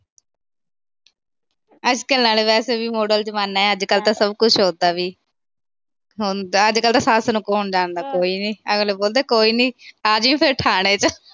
ਅੱਜ-ਕੱਲ੍ਹ ਤਾਂ ਵੈਸੇ ਵੀ ਮਾਡਰਨ ਜਮਾਨਾ। ਅੱਜ-ਕੱਲ੍ਹ ਤਾਂ ਸਭ ਕੁਛ ਹੋਤਾ ਬਈ। ਅੱਜ-ਕੱਲ੍ਹ ਤਾਂ ਸੱਸ ਨੂੰ ਕੌਣ ਜਾਣਦਾ, ਕੋਈ ਵੀ ਨੀ। ਅਗਲੇ ਬੋਲਦੇ ਕੋਈ ਨੀ ਫਿਰ ਆ ਜਾਈ ਥਾਣੇ ਚ।